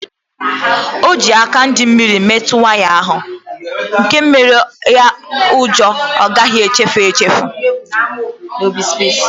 O ji aka dị mmiri metụ waya ahu nke menyere ya ụjọ ọ gaghị echefu echefu